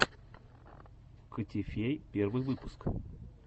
котифей первый выпуск